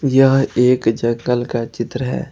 यह एक जंगल का चित्र है।